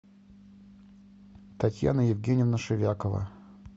татьяна евгеньевна шевякова